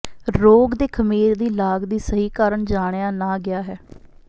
ਰੋਗ ਦੇ ਖਮੀਰ ਦੀ ਲਾਗ ਦੀ ਸਹੀ ਕਾਰਨ ਜਾਣਿਆ ਨਾ ਗਿਆ ਹੈ